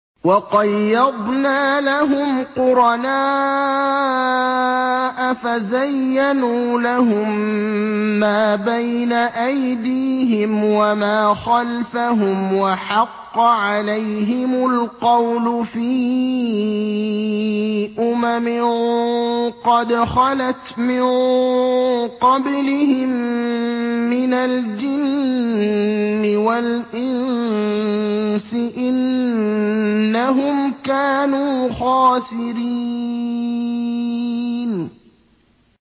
۞ وَقَيَّضْنَا لَهُمْ قُرَنَاءَ فَزَيَّنُوا لَهُم مَّا بَيْنَ أَيْدِيهِمْ وَمَا خَلْفَهُمْ وَحَقَّ عَلَيْهِمُ الْقَوْلُ فِي أُمَمٍ قَدْ خَلَتْ مِن قَبْلِهِم مِّنَ الْجِنِّ وَالْإِنسِ ۖ إِنَّهُمْ كَانُوا خَاسِرِينَ